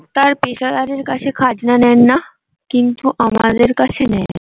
তার পেশাদারের কাছে খাজনা নেন না। কিন্তু আমাদের কাছে নেয়।